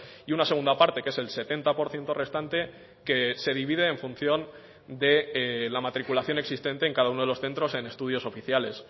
y una segunda parte que es el setenta por ciento restante que se divide en función de la matriculación existente en cada uno de los centros en estudios oficiales